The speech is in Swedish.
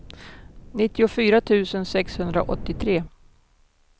nittiofyra tusen sexhundraåttiotre